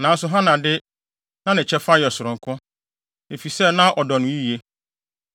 Nanso Hana de, na ne kyɛfa yɛ sononko, efisɛ na ɔdɔ no yiye.